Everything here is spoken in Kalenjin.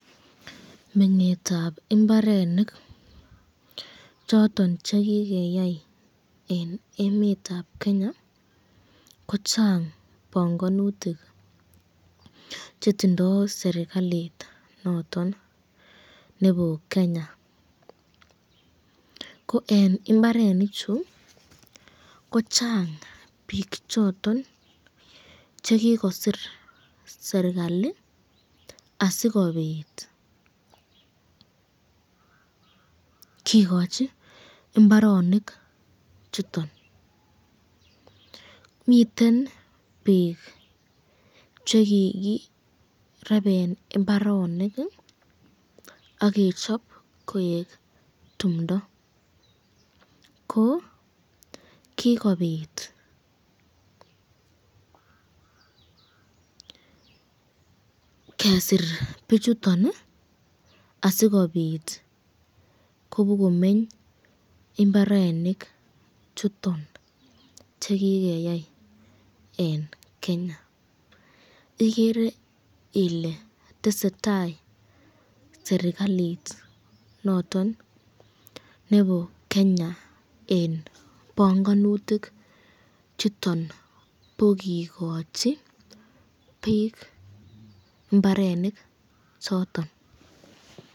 Meng'etab mbarenik choton ch ekigeyai en emet ab Kenya kochang bongonutikchetindoi serklait noton nebo Kenya. Ko en mbarenichu kochang biik choton che kigosirserkalit asikobit kigochi mbaronik chuton. Miten biik che kigireben mbarenik ak kechop koik timdo ko kigobit kesir bichuton asikobit kobokomeny mbarenik chuton che kigeyai en Kenya. Igere iletesetai serkalit noton nebo Kenya en bongonutik chuton bo kigochi biik mbarenik choton.